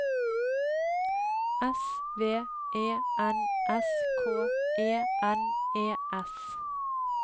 S V E N S K E N E S